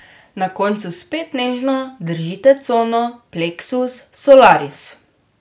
Na koncu spet nežno držite cono pleksus solaris.